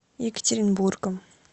екатеринбургом